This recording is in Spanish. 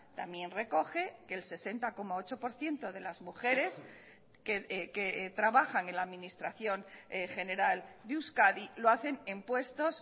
también recoge que el sesenta coma ocho por ciento de las mujeres que trabajan en la administración general de euskadi lo hacen en puestos